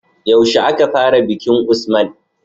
Yaushe aka fara bikin usman?